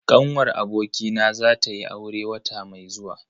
Ƙanwar abokina za tayi aure wata mai zuwa.